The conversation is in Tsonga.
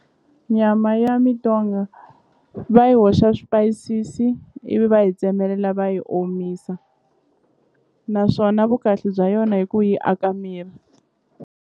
Myama ya mintonga va yi hoxa swipayisisi ivi va yi tsemelela va yi omisa naswona vukahle bya yona hi ku yi aka miri.